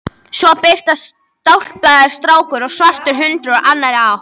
Svo birtast stálpaður strákur og svartur hundur úr annarri átt.